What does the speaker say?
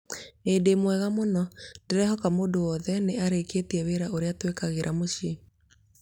ĩĩ ndĩmwega mũno, ndĩrehoka mũndũ wothe nĩ arĩkĩtie wĩra ũrĩa twĩkagĩra mũciĩ